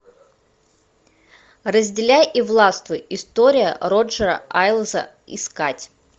разделяй и властвуй история роджера айлза искать